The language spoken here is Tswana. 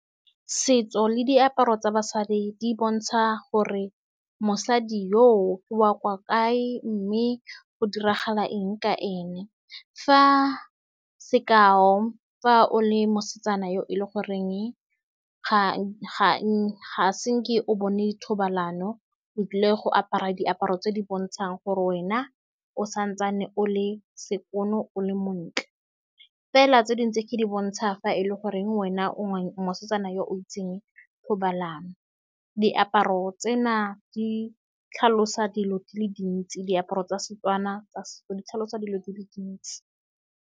Setso le diaparo tsa basadi di bontsha gore mosadi yoo ke wa kwa kae, mme go diragala eng ka ene. Fa sekai, fa o le mosetsanyana yo e leng gore ga-ga ga senke o bone thobalano, o tlile go apara diaparo tse di bontshang gore wena o santse o le sekano, o le montle fela. Tse dingwe tse ke di bontsha fa e leng gore wena o mosetsanyana yo o itseng thobalano. Diaparo tsena di tlhalosa dilo di le dintsi. Diaparo tsa Setswana di tlhalosa dilo di le dintsi.